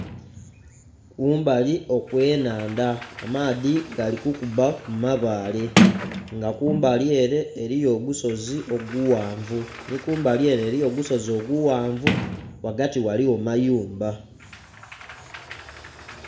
Kumbali okwenhandha amaadhi gali kukubba kumabale nga kumbali'ere eriyo ogusozi oguwanvu ni kumbali'ere eriyo ogusozi oguwanvu ghagati ghaligho mayumba